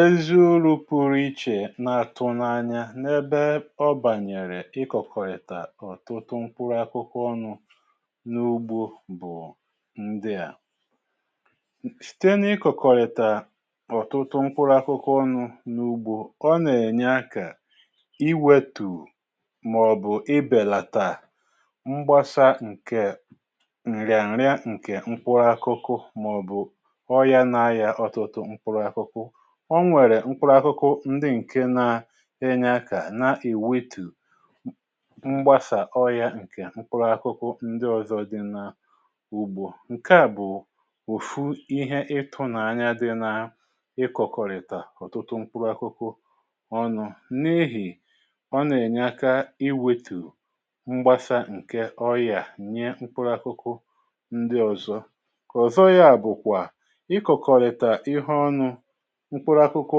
Ezu̇ru̇ pụrụ ichè na-àtụ n’anya n’ebe ọ bànyèrè ị kọ̀kọ̀rìtà ọ̀tụtụ mkpụrụ akụkụ ọnụ̇ n’ugbo bụ̀ ndịà: sìtè n’ ịkọ̀kọ̀rìtà ọ̀tụtụ mkpụrụ akụkụ ọnụ̇ n’ugbu ọ nà-ènye akȧ iwėtù mà ọ̀bụ̀ ibèlàtà mgbasa ǹkè ǹrịàǹrịà ǹkè mkpụrụ akụkụ màọ̀ bụ̀ ọrịa n’arịa mkpụrụ akụkụ. O nwèrè mkpụrụ akụkụ ndi ǹke na-enye akà na ewetù m mgbasà ọrị̀ȧ ǹkè mkpụrụ akụkụ ndi ọ̀zọ di na ùgbo. Nke à bụ̀ òfu ihe ị tụnanya di na ikọ̀kọ̀rìtà ọ̀tụtụ mkpụrụ akụkụ ọnụ̇ n’ihì ọ nà-ènye aka iwetu̇ mgbasa ǹke ọyà nye mkpụrụ akụkụ ndi ọ̀zọ. Kọzọ ya bụ̀kwà ị kọ̀kọ̀rìtà ihe ọnụ̇ mkpụrụ akụkụ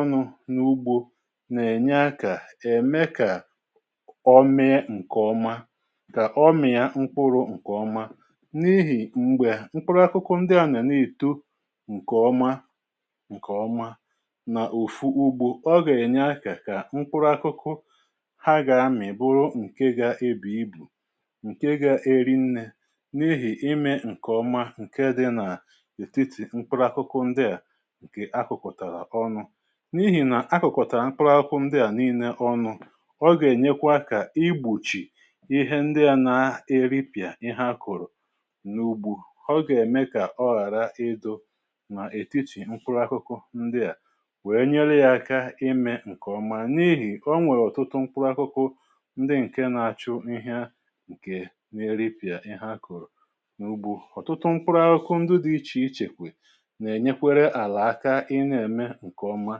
ọnụ̇ n’ugbȯ nà-ènye akȧ ème kà ọ mee ǹkè ọma, kà ọ mịȧ mkpụrụ ǹkè ọma n’ihì mgbè mkpụrụ akụkụ ndịȧ nà n’èto ǹkè ọma ǹkè ọma nà-ofu ugbȯ ọ gà-ènye akȧ kà mkpụrụ akụkụ ha gà-amị̀ bụrụ ǹke gȧ ebu ibu, ǹke gȧ eri nnė n’ihì imė ǹkè ọma ǹke dị na ètitì mkpụrụ akụkụ ndịà nke a kọ̀kọtàra ọnụ̇. N’ihì nà akụ̀kọ̀tàra mkpụ̀rụ akụ̀ ndị à nii̇nė ọnụ̇ ọ gà-ènyekwa akà igbochì ihe ndị à na-eripị̀à ihe akọ̀rọ̀ n’ùgbù, ọ gà-ème kà ọ ghàra idụ nà ètitì mkpụrụ akụkụ ndị à wèe nyeli̇ yȧ aka imė ǹkè ọma n’ihì onwèrè ọ̀tụtụ mkpụrụ akụkụ ndị ǹke na-achụ ihe ǹkè n’eripị̀à ihe akọ̀rọ̀ n’ugbȯ. Ọtụtụ mkpụrụ akụkụ ndị dị̇ ichè ichèkwè n’enyekwere ala aka ị na eme nke ọma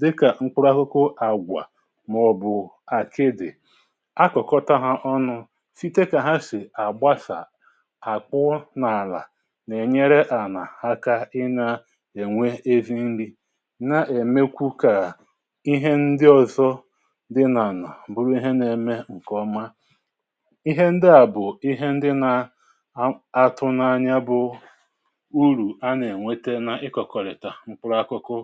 dịkà mkpụrụ akụkụ àgwà mà ọ̀bụ̀ àkịdị̀ akụ̀kọta ha ọnụ site kà ha sì àgbasà àkwụọ n’àlà n’ènyere ànà aka ị na-ènwe ezi nri na-èmekwu kà ihe ndị ọzọ dị n’ànà bụrụ ihe nà-eme ǹkèọma. Ihe ndị à bụ̀ ihe ndị nà a atụnanya bụ̀ urù a nà-ènwete na ikọ̀kọ̀rị̀ta mkpụrụ akụkụ